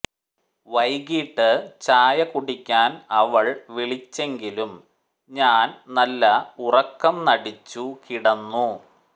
വൈകിട്ട് ചായ കുടിക്കാൻ അവൾ വിളിച്ചെങ്കിലും ഞാൻ നല്ല ഉറക്കം നടിച്ചു കിടന്നു